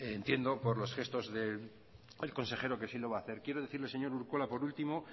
entiendo por los gestos del consejero que sí lo va a hacer quiero decirle señor urkola por último